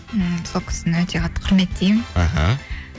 ммм сол кісіні өте қатты құрметтеймін аха